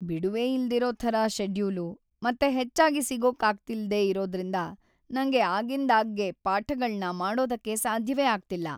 ಬಿಡುವೇ ಇಲ್ದಿರೋ ಥರ ಷೆಡ್ಯೂಲು ಮತ್ತೆ ಹೆಚ್ಚಾಗಿ ಸಿಗೋಕಾಗ್ತಿಲ್ದೇ ಇರೋದ್ರಿಂದ ನಂಗೆ ಆಗಿಂದಾಗ್ಗೆ ಪಾಠಗಳ್ನ ಮಾಡೋದಕ್ಕೆ ಸಾಧ್ಯವೇ ಆಗ್ತಿಲ್ಲ.